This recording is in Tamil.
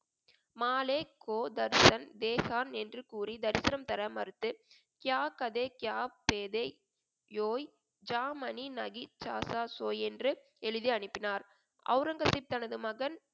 என்று கூறி தரிசனம் தர மறுத்து என்று எழுதி அனுப்பினார் அவுரங்கசீப் தனது மகன்